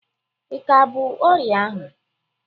Ika bu ọrịa ahụ?